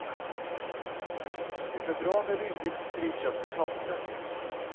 Det är bra med rimligt friköpta tomter.